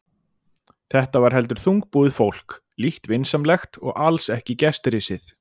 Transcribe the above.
Þetta var heldur þungbúið fólk, lítt vinsamlegt og alls ekki gestrisið.